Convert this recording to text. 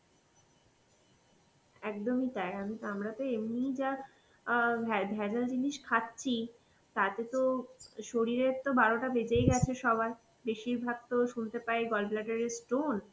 একদমই তাই, আমি তো আমরা তো এমনি যা অ্যাঁ ভ্যা~ ভেজাল জিনিস খাচ্ছি তাতে তো শরীরের তো বারোটা বেজেই গেছে সবার, বেশিরভাগ তো শুনতে পাই gallbladder এ stone